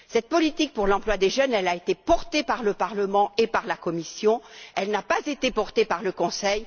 Cette politique pour l'emploi des jeunes a été portée par le Parlement et par la Commission. Elle n'a pas été portée par le Conseil.